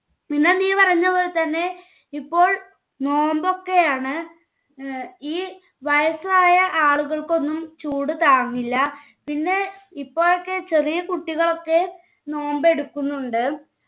പിന്നെ നീ പറയുന്നപോലെതന്നെ ഇപ്പോൾ നോമ്പൊക്കെയാണ് ഏർ ഈ വയസ്സായ ആളുകൾക്കൊന്നും ചൂട് താങ്ങില്ല പിന്നെ ഇപ്പോഴൊക്കെ ചെറിയ കുട്ടികളൊക്കെ നോമ്പെടുക്കുന്നുണ്ട്